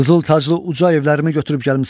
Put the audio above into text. Qızıl taclı uca evlərimi götürüb gəlmisən.